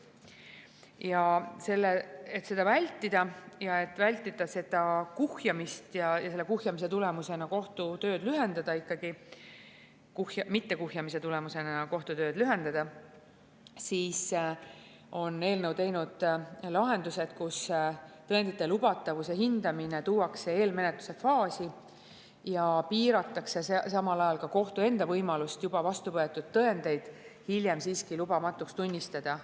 Ja selleks, et seda kuhjumist vältida ja selle tulemusena kohtu tööd kiirendada, on eelnõus lahendused, et tõendite lubatavuse hindamine tuuakse eelmenetluse faasi ja piiratakse samal ajal ka kohtu enda võimalust juba vastu võetud tõendeid hiljem lubamatuks tunnistada.